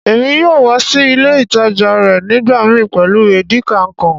Èmi yóò wa si ilé ìtàjà rẹ nígbàmii pẹ́lu Edikaikong.